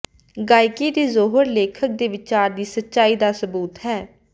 ਗਾਇਕੀ ਦੇ ਜੌਹਰ ਲੇਖਕ ਦੇ ਵਿਚਾਰ ਦੀ ਸੱਚਾਈ ਦਾ ਸਬੂਤ ਹੈ